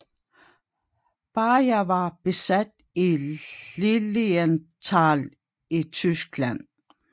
Beyer var bosat i Lilienthal i Tyskland